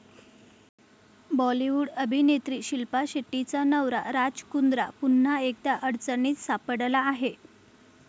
बॉलिवूड अभिनेत्री शिल्पा शेट्टीचा नवरा राज कुंद्रा पुन्हा एकदा अडचणीत सापडला आहे.